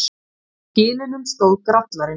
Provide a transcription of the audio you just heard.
Á kilinum stóð Grallarinn.